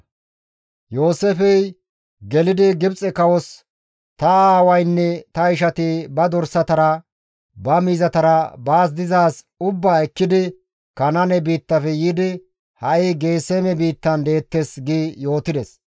Yooseefey gelidi Gibxe kawos, «Ta aawaynne ta ishati ba dorsatara, ba miizatara baas dizaaz ubbaa ekkidi Kanaane biittafe yiidi, ha7i Geeseme biittan deettes» gi yootides.